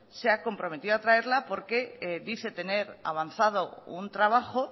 se ha comprometido a traerla porque dice tener avanzado un trabajo